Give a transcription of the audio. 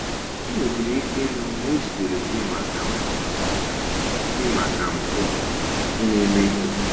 Ị nwedịrị ike ịhụ na ejidere gị maka mpụ ị maka mpụ ị na-emeghị!